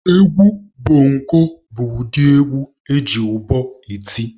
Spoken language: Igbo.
Egwu bongo bụ ụdị egwu eji ụbọ eti.